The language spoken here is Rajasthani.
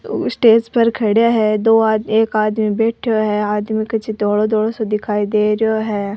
स्टेज पर खड़ा है दो आदमी एक आदमी बैठो है आदमी कुछ धोला धोला सा दिखाई दे रो है।